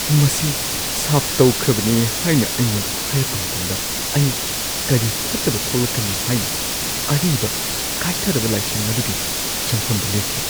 ꯃꯁꯤ ꯁꯥꯞ ꯇꯧꯈ꯭ꯔꯕꯅꯤ ꯍꯥꯏꯅ ꯑꯩꯉꯣꯟꯗ ꯍꯥꯏꯔꯛꯄ ꯃꯇꯝꯗ ꯑꯩ ꯀꯔꯤ ꯐꯠꯇꯕ ꯊꯣꯛꯂꯛꯀꯅꯤ ꯍꯥꯏꯅ ꯑꯔꯤꯕ ꯀꯥꯏꯊꯔꯕ ꯂꯥꯏꯁꯪ ꯑꯗꯨꯒꯤ ꯆꯪꯐꯝꯗ ꯂꯦꯞꯈꯤ꯫